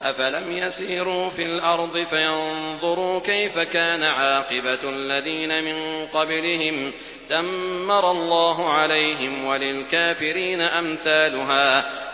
۞ أَفَلَمْ يَسِيرُوا فِي الْأَرْضِ فَيَنظُرُوا كَيْفَ كَانَ عَاقِبَةُ الَّذِينَ مِن قَبْلِهِمْ ۚ دَمَّرَ اللَّهُ عَلَيْهِمْ ۖ وَلِلْكَافِرِينَ أَمْثَالُهَا